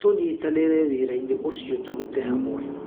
Tũnyitanĩire wĩrainĩ ũcio tũrute hamwe.